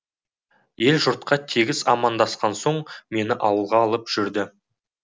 ел жұртқа тегіс амандасқан соң мені ауылға алып жүрді